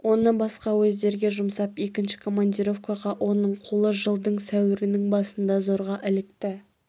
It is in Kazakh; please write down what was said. оны басқа уездерге жұмсап екінші командировкаға оның қолы жылдың сәуірінің басында зорға ілікті